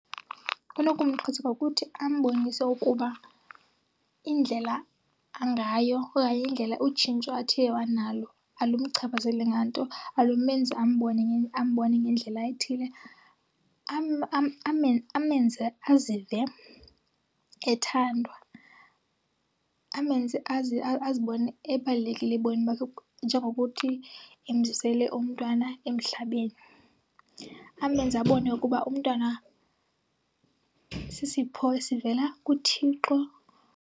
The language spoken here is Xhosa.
Unokumxhasa ngokuthi ambonise ukuba indlela angayo okanye indlela utshintsho athe wanalo alumchaphazeli nganto, alumenzi ambone ambone ngendlela ethile. Amenze azive ethandwa, amenze azibone ebalulekile ebomini bakhe njengokuthi emzisele umntwana emhlabeni. Amenze abone ukuba umntwana sisipho esivela kuThixo.